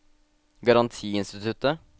garantiinstituttet